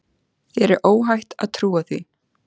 Þér er óhætt að trúa því.